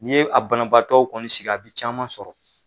Ni ye a banabagatɔw kɔni sigi a bi caman sɔrɔ